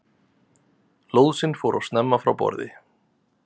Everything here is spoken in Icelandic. Lóðsinn fór of snemma frá borði